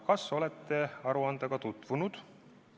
Kas olete selle aruandega tutvunud?